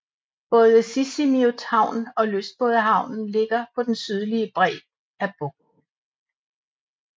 Både Sisimiut Havn og lystbådehavnen ligger på den sydlige bred af bugten